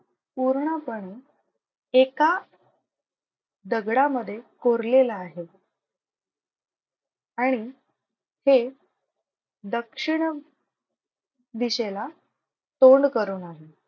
पूर्णपणे एका दगडामधे कोरलेला आहे आणि ते दक्षिण दिशेला तोंड करून आहे.